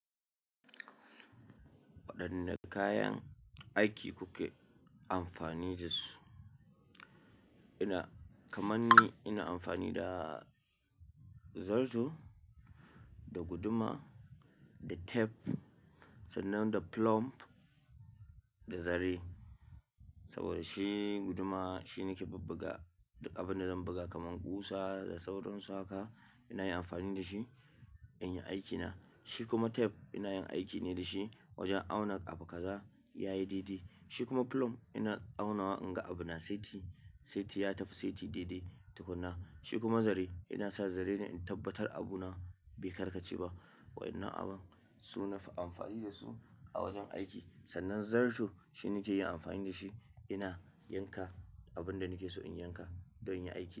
Waɗanne kayan aiki kuke amfani da su? Ina-- kaman ni ina amfani da zarto, da guduma, da tef sannan da plum da zare. Saboda shi guduma shi nake bubbuga duk abin da zan buga kaman ƙusa da sauran su haka ina yi amfani da shi in yi aikina. Shi kuma tef ina yin aikine da shi wajen auna abu kaza yayi dede. Shi kuma plum ina aunawa in ga abu na saiti, saiti ya tafi, saiti didi tukuna. Shi kuma zare ina sa zare ne in tabbatar abu na be karkace ba. Wayannan abun su nafi amfani da su a wajen aiki. Sannan zarto shi nake yi amfani da shi ina yanka abun da nake so in yanka don inyi aiki.